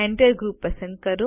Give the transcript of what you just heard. Enter group પસંદ કરો